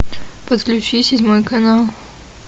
подключи седьмой канал